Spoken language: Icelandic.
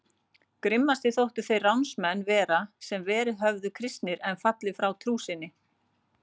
Grimmastir þóttu þeir ránsmenn vera sem verið höfðu kristnir en fallið frá trú sinni.